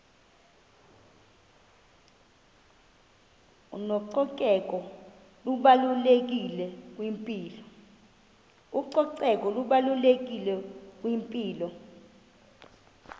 ucoceko lubalulekile kwimpilo